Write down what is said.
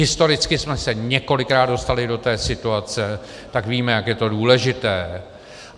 Historicky jsme se několikrát dostali do té situace, tak víme, jak je to důležité.